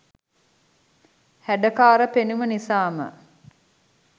හැඩකාර පෙනුම නිසාම